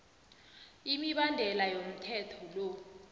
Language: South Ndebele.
imibandela yomthetho lo